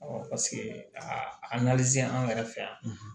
paseke a an yɛrɛ fɛ yan